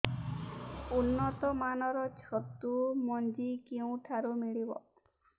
ଉନ୍ନତ ମାନର ଛତୁ ମଞ୍ଜି କେଉଁ ଠାରୁ ମିଳିବ